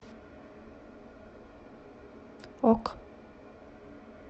ок